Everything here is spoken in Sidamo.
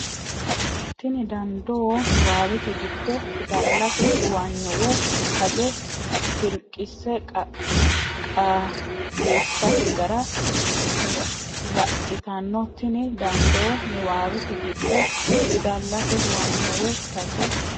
Tini dandoo niwaawete giddo fidallate huwanyo woy taje filiqise qaagissate gara radhitanno Tini dandoo niwaawete giddo fidallate huwanyo woy taje.